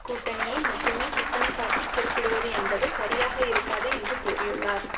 கூட்டணியை மட்டுமே குற்றம்சாட்டி குறிப்பிடுவது என்பது சரியாக இருக்காது என்று கூறியுள்ளார்